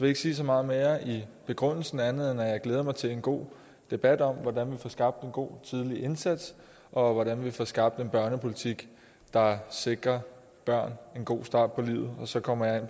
ikke sige så meget mere i begrundelsen andet end at jeg glæder mig til en god debat om hvordan vi får skabt en god tidlig indsats og hvordan vi får skabt en børnepolitik der sikrer børn en god start på livet så kommer jeg